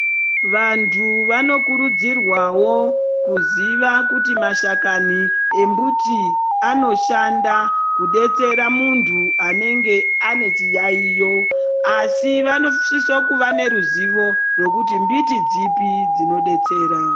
Vantu vanokurudzirwawo kuziva kuti mashakani embuti anoshanda kudetsera muntu anenge anechiyayo asi vanosisa kuva neruzivo rwekuti mbiti dzipi dzinodetsera.